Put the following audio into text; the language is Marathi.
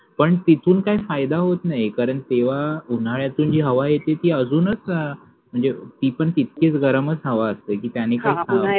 पण तिथून काही फायदा होत नाही कारण तेव्हा उन्हाळ्याची जी हवा येते ती अजूनच अं ती पण तितकीच गरमच हवा असते